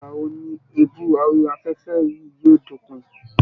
Ìgbà wo ni èébú orí afẹ́fẹ́ yìí yóò dópin